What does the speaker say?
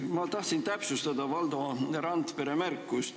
Ma tahtsin täpsustada Valdo Randpere märkust.